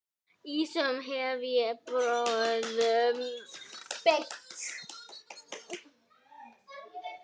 Ýmsum hef ég brögðum beitt.